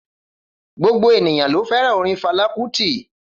Gbogbo ènìyàn ló fẹ́ràn orin Fala Kuti